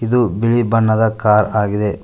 ಇದು ಬಿಳಿ ಬಣ್ಣದ ಕಾರ್ ಆಗಿದೆ.